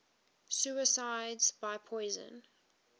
suicides by poison